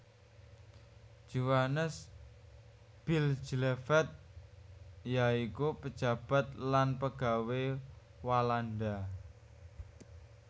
Johannes Bijleveld ya iku pejabat lan pegawé Walanda